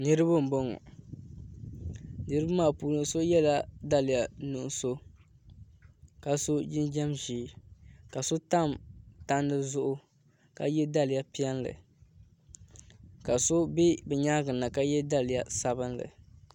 Niraba n boŋo niraba maa puuni so yɛla daliya nuɣso ka so jinjɛm ʒiɛ ka so tam tandi zuɣu ka yɛ daliya piɛlli ka so bɛ bi nyaangi na ka yɛ daliya sabinli